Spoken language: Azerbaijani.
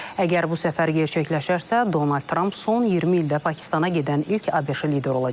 Əgər bu səfər gerçəkləşərsə, Donald Tramp son 20 ildə Pakistana gedən ilk ABŞ lideri olacaq.